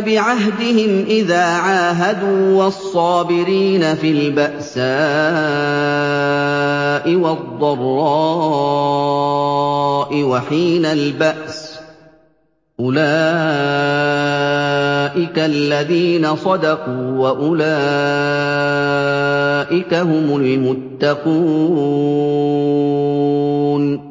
بِعَهْدِهِمْ إِذَا عَاهَدُوا ۖ وَالصَّابِرِينَ فِي الْبَأْسَاءِ وَالضَّرَّاءِ وَحِينَ الْبَأْسِ ۗ أُولَٰئِكَ الَّذِينَ صَدَقُوا ۖ وَأُولَٰئِكَ هُمُ الْمُتَّقُونَ